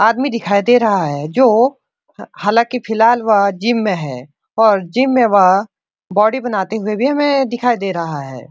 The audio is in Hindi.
आदमी दिखाई दे रहा है जो हालांकि फिलहाल वह जिम में है और जिम में वह बॉडी बनाते हुए भी हमें दिखाई दे रहा है।